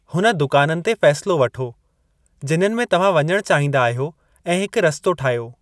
हुन दुकाननि ते फ़ैसिलो वठो, जिन्हनि में तव्हां वञणु चाहींदा आहियो ऐं हिकु रस्तो ठाहियो।